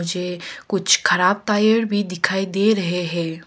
कुछ खराब टायर भी दिखाई दे रहे है।